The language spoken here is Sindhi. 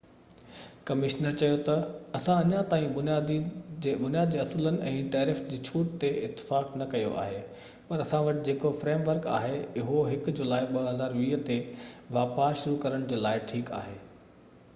ڪمشنر چيو تہ اسان اڃا تائين بنياد جي اصولن ۽ ٽيرف جي ڇوٽ تي اتفاق نہ ڪيو آهي پر اسان وٽ جيڪو فريم ورڪ آهي اهو 1 جولائي 2020 تي واپار شروع ڪرڻ جي لاءِ ٺيڪ آهي